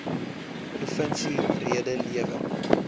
provinsie rede lewer